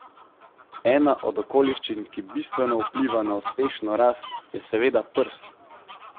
Ena od okoliščin, ki bistveno vpliva na uspešno rast, je seveda prst.